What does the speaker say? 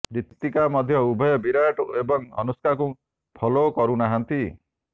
ରିତିକା ମଧ୍ୟ ଉଭୟ ବିରାଟ ଏବଂ ଅନୁଷ୍କାଙ୍କୁ ଫଲୋ କରୁନାହାଁନ୍ତି